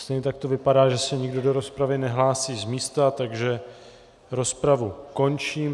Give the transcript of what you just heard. Stejně tak to vypadá, že se nikdo do rozpravy nehlásí z místa, takže rozpravu končím.